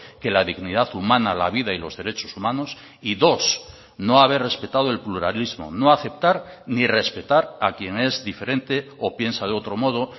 que la dignidad humana la vida y los derechos humanos y dos no haber respetado el pluralismo no aceptar ni respetar a quien es diferente o piensa de otro modo